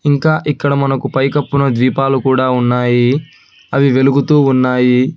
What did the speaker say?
ఇంకా ఇక్కడ మనకు పైకపున దీపాలు కూడా ఉన్నాయి అవి వెలుగుతూ ఉన్నాయి